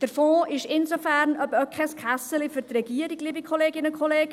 Der Fonds ist insofern kein «Kässeli» für die Regierung, liebe Kolleginnen und Kollegen: